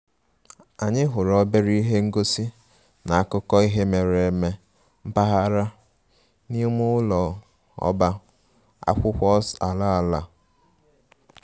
Anyị hụrụ obere ihe ngosi na akụkọ ihe mere eme mpaghara n'ime ụlọ ọba akwụkwọ’s ala ala